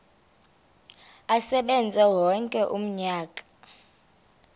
asebenze wonke umnyaka